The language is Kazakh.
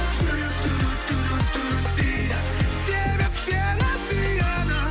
жүрек дейді себеп сені сүйеді